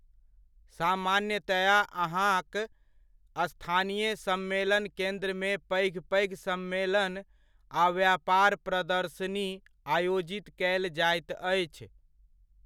सामान्यतया अहाँक स्थानीय सम्मेलन केन्द्रमे पैघ पैघ सम्मेलन आ व्यापार प्रदर्शनी आयोजित कयल जाइत अछि।